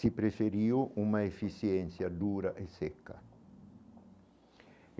se preferiu uma eficiência dura e seca.